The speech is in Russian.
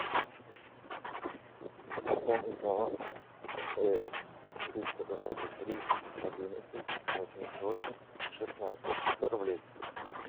пополнить баланс мтс триста двадцать три одиннадцать восемьдесят восемь шестнадцать сто рублей